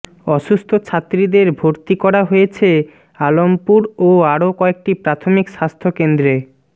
অসুস্থ ছাত্রীদের ভরতি করা হয়েছে আলমপুর ও আরও কয়েকটি প্রাথমিক স্বাস্থ কেন্দ্রে